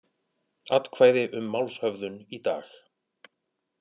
Atkvæði um málshöfðun í dag